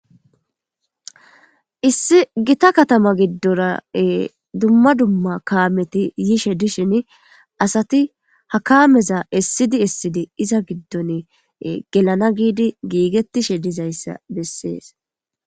Issi gita katama giddora dumma dumma kaameti yishe dishin asati ha kaameza essidi issidi iza giddon gelana giidi giigettishe dizayssa bessees.